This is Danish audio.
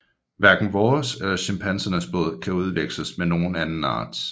Hverken vores eller chimpansernes blod kan udveksles med nogen anden arts